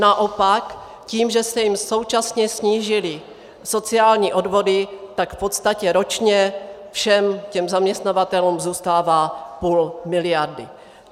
Naopak tím, že se jim současně snížily sociální odvody, tak v podstatě ročně všem těm zaměstnavatelům zůstává půl miliardy.